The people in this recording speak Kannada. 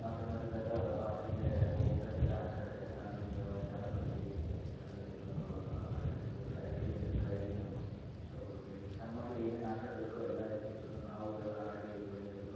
ನಾವು ಸಣ್ಣರ್ ಇದ್ದಾಗ ಪಾರ್ಕಿಗೆ ಹೋಗತ್ತಾ ಇದ್ದದೇ ಆಟ ಆಡೋಕ್ಕೆ ಅಲ್ಲಿಂದ ಜಾರಬಂಡಿ ಅಲ್ಲಿಂದ ಆಹ್ ಇದು ಸೈಕ್ಲಿಂಗ್ ಟ್ರೈನ್ ಸೊ ಲೈಕ್ ಸಣ್ಣ ಮಕ್ಕಳ್ಳಿಗೆ ಏನ್ ಆಟ ಆಡಬೇಕು ಎಲ್ಲಾಇರತಿತ್ತು ಸೊ ನಾವು ಇದೆಲ್ಲಾ ಆಡಿ ಬಂದಿರೋದು.